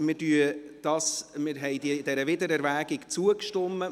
Wir haben dieser Wiedererwägung zugestimmt.